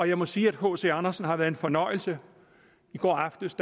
jeg må sige at hc andersen har været en fornøjelse i går aftes